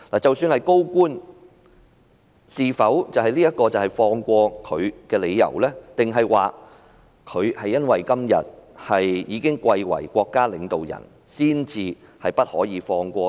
即使是高官，是否這樣就輕輕放過他，還是因為他今天已貴為國家領導人才不得不放過呢？